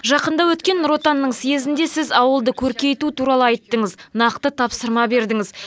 жақында өткен нұр отанның съезінде сіз ауылды көркейту туралы айттыңыз нақты тапсырма бердіңіз